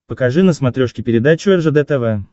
покажи на смотрешке передачу ржд тв